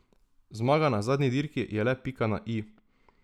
Zmaga na zadnji dirki je le pika na i.